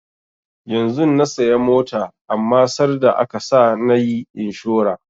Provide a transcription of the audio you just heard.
Yanzun na saya mota amma sarda aka sa nayi inshora